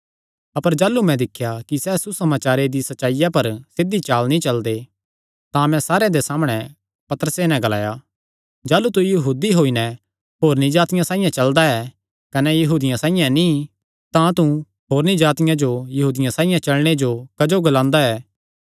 अपर जाह़लू मैं दिख्या कि सैह़ सुसमाचारे दी सच्चाईया पर सिध्धी चाल नीं चलदे तां मैं सारेयां दे सामणै पतरसे नैं ग्लाया जाह़लू तू यहूदी होई नैं होरनी जातिआं साइआं चलदा ऐ कने यहूदियां साइआं नीं तां तू होरनी जातिआं जो यहूदियां साइआं चलणे जो क्जो ग्लांदा ऐ